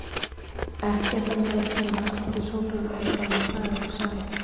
Ekki er það mér að kenna að þið Sólrún eruð farin að draga ykkur saman!